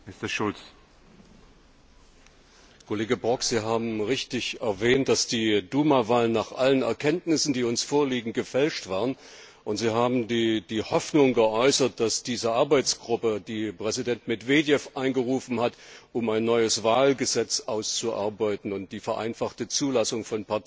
Kollege Brok, Sie haben richtig erwähnt, dass die Duma Wahlen nach allen Erkenntnissen, die uns vorliegen, gefälscht waren, und Sie haben die Hoffnung geäußert, dass diese Arbeitsgruppe, die Präsident Medwedjew einberufen hat, um ein neues Wahlgesetz auszuarbeiten und die vereinfachte Zulassung von Parteien zu ermöglichen, Früchte trägt.